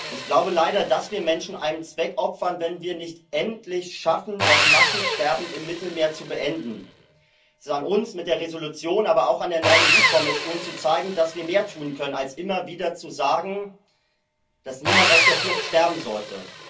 Ich glaube leider, dass wir Menschen einem Zweck opfern, wenn wir es nicht endlich schaffen, das Massensterben im Mittelmeer zu beenden. Es ist an uns mit der Entschließung, aber auch an der neuen EU Kommission, zu zeigen, dass wir mehr tun können, als immer wieder zu sagen, dass niemand auf der Flucht sterben sollte.